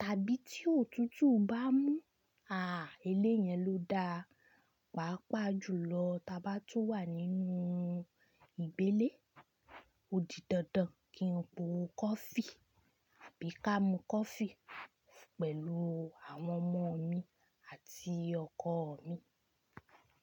Tàbí tí òtútù bá mú, báa eléyẹn ló da. Pàápàá jùlọ tí a bá tó wà nínú ìgbélé, ó di dandan kí n po coffee, bí i ká mu coffee pẹ̀lú àwọn ọmọ mi àti ọkọ̀ mi.